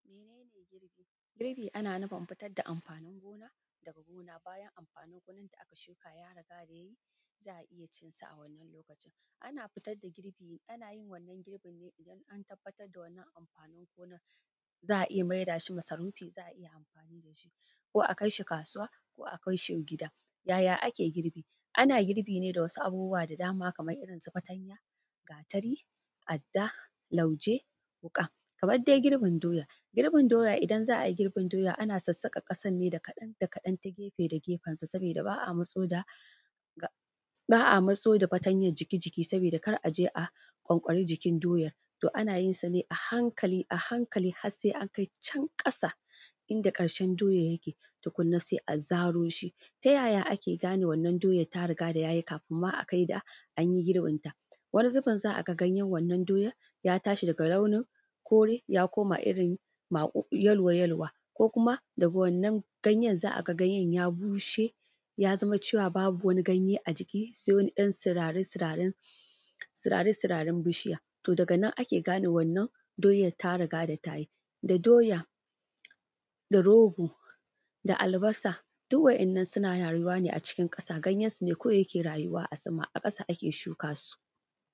Mene ne girbi? Girbi ana nufin fitar da amfaanin gona daga gona, bayan amfaanin gonan da aka shuka ya riga da yayi za a iya cin sa a wannan lokacin. Ana fitar da girbi ana yin wannan girbin ne idan an fitar da wannan amɸaanin gonan za a iya mai da shi masarufi za a iya amfaani da shi ko a kai shi kaasuwa ko a kai shi gida. Yaya ake girbi? Ana girbi ne da wasu abubuwa da dama kamar irinsu fatanya, gaatari, adda, lauje, wuƙa kamar dai girbin doya, girbin doya idan dai za a yi girbin doya ana sassaƙan ƙasan ne kaɗan da kaɗan ta gefensa sabiida baa a matso da ga baa a matso da fatanyan jiki jiki sabiida kar a je a ƙwanƙwari jikin doya, to ana yin sa ne a hankali a hankali har sai an kai can ƙasa inda ƙarshen doyar yake tukunna sai a zaro shi. Ta yaya ake gane wannan doya ta riga da yayi kafin ma akai ga anyi girbin ta. Wani zubin za a ga ganyen wannan doyan ya tashi daga launin kore ya koma irin maƙu yalo yaluwa ko kuma daga wannan ganyen za a ga ganyen ya bushe ya zama cewa babu wani ganye a jikin shi sai wani 'yan sirari sirarin, sirari sirarin bishiya. To daga nan ake gane wannan doya ta riga da ta yi, da doya da rogo da albasa duk wa’innan suna raayuwa ne acikin ƙasa ganyensu ne kawai suke rayuwa a sama ƙasa ake shukaa su.